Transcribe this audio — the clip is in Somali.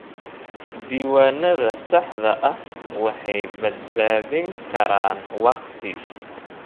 Diiwaanada saxda ah waxay badbaadin karaan waqti.